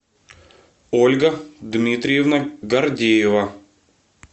ольга дмитриевна гордеева